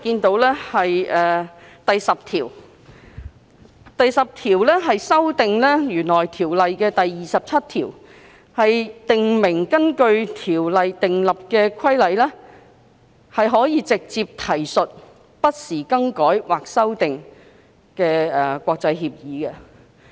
第10條建議修訂《運貨貨櫃條例》第27條，以訂明根據《條例》訂立的規例可直接提述不時更改或修訂的國際協議。